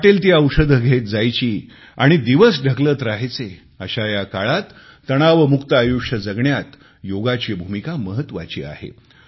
वाटेल ती औषधे घेत जायची आणि दिवस ढकलत रहायचे अशा या काळात तणावमुक्त आयुष्य जगण्यात योगाची भूमिका महत्त्वाची आहे